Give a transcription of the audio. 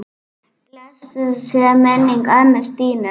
Blessuð sé minning ömmu Stínu.